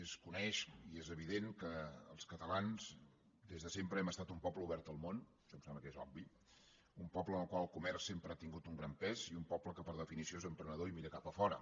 es coneix i és evident que els catalans des de sempre hem estat un poble obert al món això em sembla que és obvi un poble en el qual el comerç sempre ha tingut un gran pes i un poble que per definició és emprenedor i mira cap a fora